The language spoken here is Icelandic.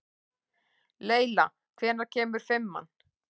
Leyla, hvenær kemur fimman?